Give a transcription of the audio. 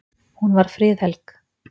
Hún var friðhelg.